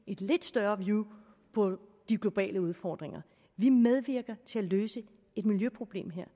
et lidt større view på de globale udfordringer vi medvirker til at løse et miljøproblem her